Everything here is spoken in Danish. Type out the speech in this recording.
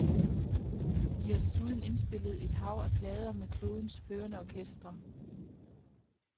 De har desuden indspillet et hav af plader med klodens førende orkestre.